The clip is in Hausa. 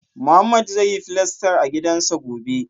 Mohammed zai yi filastar a gidansa gobe